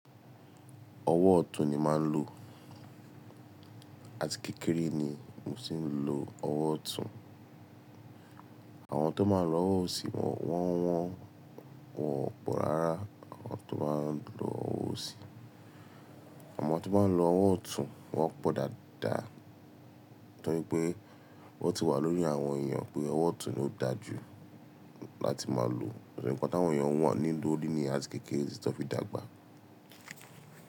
Ọwọ́ ọ̀tún ni màá ń lò àti kékeré ni mo tì ń lo ọwọ́ ọ̀tún. Àwọn tó máa ń lo ọwọ́ òsì wọ́, wọ́n wọ́n wọ̀ pọ̀ rárá àwọn tó bá ń lo ọwọ́ òsì. Àmọ́ tó bá ń lo ọwọ́ ọ̀tún, wọ́n pọ̀ dáadáa torí pé ó ti wà lórí àwọn èèyàn pé ọwọ́ ọ̀tún ló da jù láti máa lò nítorí pé àwọn èèyàn wọ́n nílò ní àti kékeré títi tan fi dàgbà.